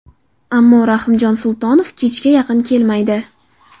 Ammo Rahimjon Sultonov kechga yaqin kelmaydi.